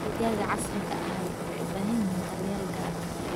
Digaagga casriga ahi waxay u baahan yihiin daryeel gaar ah.